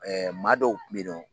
maa dɔw kun be yen nɔn